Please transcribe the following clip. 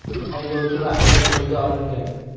Haydovchi va ayol qo‘lga olingan.